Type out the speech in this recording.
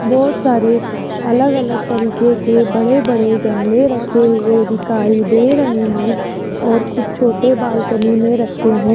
बहोत सारे अलग-अलग तरीके के बड़े-बड़े गमले रखे हुए दिखाई दे रहे हैं और कुछ छोटे बालकनी में रखें हैं।